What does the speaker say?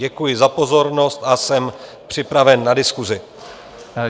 Děkuji za pozornost a jsem připraven na diskusi.